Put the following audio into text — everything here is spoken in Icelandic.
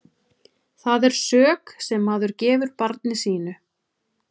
Það er sök sem maður gefur barni sínu.